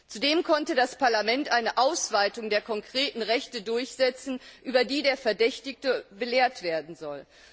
Zudem konnte das Parlament eine Ausweitung der konkreten Rechte durchsetzen, über die der Verdächtigte belehrt werden soll.